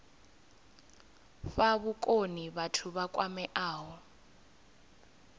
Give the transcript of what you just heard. fha vhukoni vhathu vha kwameaho